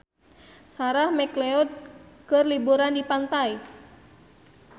Sarah McLeod keur liburan di pantai